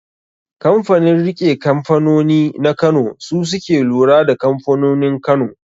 Kanfanin riƙe kanfanoni na kano su suke lura da kamfanonin Kano